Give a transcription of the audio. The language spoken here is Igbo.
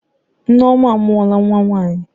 Nneoma amuola nwa nwanyi.